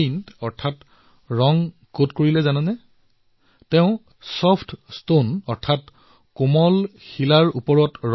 কিন্তু আপোনালোকে জানে নে তেওঁ পেইণ্ট কত কৰিছে কোমল শিলাত কোমল শিলাৰ ওপৰত